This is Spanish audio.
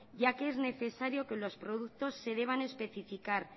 ya que es necesario que los productos se deban especificar